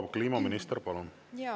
Proua kliimaminister, palun!